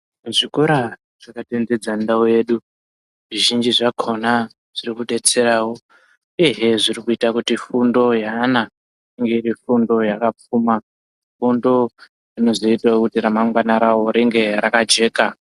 Zvikora zvakatenderedza ndau yedu , zvizhinji zvakona zvirikudetserawo uyehe zvirikuita kuti fundo yeana iwe iri fundo yakapfuma ,fundo inozoitoo kuti ramangwana ravo ringe rakajeka .